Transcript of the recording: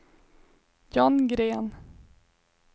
John Gren